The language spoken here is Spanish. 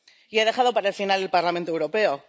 Y he dejado para el final al Parlamento Europeo.